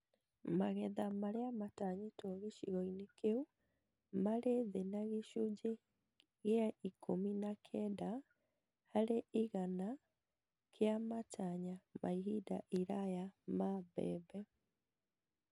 Magetha marĩa matanyĩtwo gĩcigo-inĩ kĩu marĩ thĩ na gĩcunjĩ kĩa ikũmi na kenda harĩ igana kĩa matanya ma ihinda iraya ma mbembe